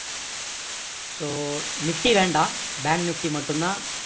so nifty வேண்டாம் bank nifty மட்டும் தான்